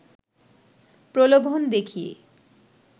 প্রলোভন দেখিয়ে